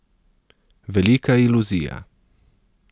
Velika iluzija.